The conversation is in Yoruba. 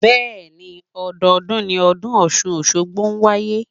Bẹ́ẹ̀ni, ọdọọdún ni ọdún Ọ̀ṣun Òṣogbo ń wáyé.